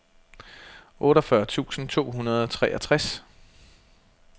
otteogfyrre tusind to hundrede og treogtres